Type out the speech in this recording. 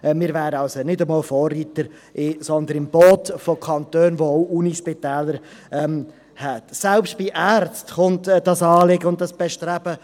Wir wären also nicht einmal die Vorreiter, sondern mit im Boot der Kantone, die ebenfalls Universitätsspitäler haben.